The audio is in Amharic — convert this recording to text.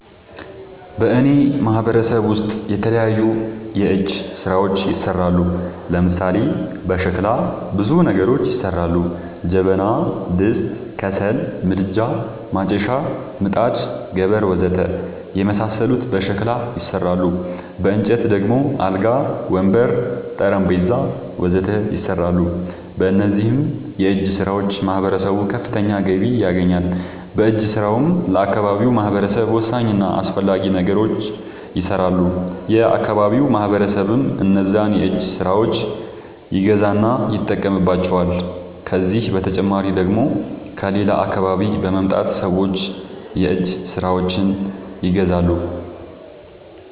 በእኔ ማህበረሰብ ውስጥ የተለያዩ የእጅ ስራዎች ይሠራሉ። ለምሳሌ፦ በሸክላ ብዙ ነገሮች ይሠራሉ። ጀበና፣ ድስት፣ ከሰል ምድጃ፣ ማጨሻ፣ ምጣድ፣ ገበር... ወዘተ የመሣሠሉት በሸክላ ይሠራሉ። በእንጨት ደግሞ አልጋ፣ ወንበር፣ ጠረንጴዛ..... ወዘተ ይሠራሉ። በእነዚህም የእጅስራዎች ማህበረሰቡ ከፍተኛ ገቢ ያገኛል። በእጅ ስራውም ለአካባቢው ማህበረሰብ ወሳኝ እና አስፈላጊ ነገሮች ይሠራሉ። የአካባቢው ማህበረሰብም እነዛን የእጅ ስራዎች ይገዛና ይጠቀምባቸዋል። ከዚህ በተጨማሪ ደግሞ ከሌላ አካባቢ በመምጣት ሠዎች የእጅ ስራዎቸችን ይገዛሉ።